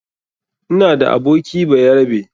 Ina da aboki bayarabe.